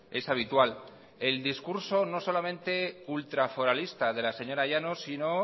es habitual el discurso no solamente ultraforalista de la señora llanos sino